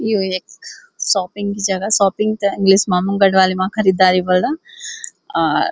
यू ऐक शॉपिंग की जगह शॉपिंग ते इंगलिश मा हम गड़वाली मा खरीदारी ब्वाल्दा अर --